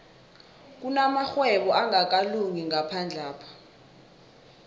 kunamarhwebo angakalungi ngaphandlapha